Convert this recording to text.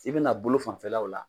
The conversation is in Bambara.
I be na bolo fanfɛlaw la .